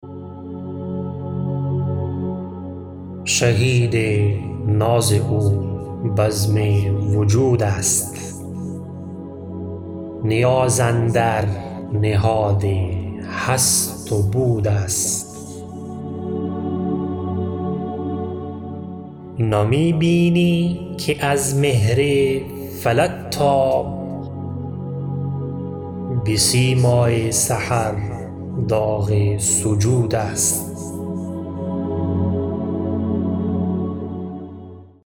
شهید ناز او بزم وجود است نیاز اندر نهاد هست و بود است نمی بینی که از مهر فلک تاب به سیمای سحر داغ سجود است